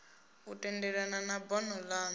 u tendelana na bono lanu